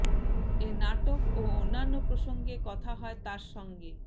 এ নাটক ও অন্যান্য প্রসঙ্গে কথা হয় তার সঙ্গে